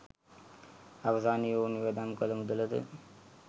අවසානයේ ඔවුන් වියදම් කළ මුදල ද